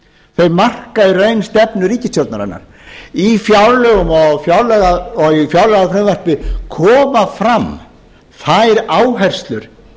þau marka í raun stefnu ríkisstjórnarinnar í fjárlögum og fjárlagafrumvarpi koma fram þær áherslur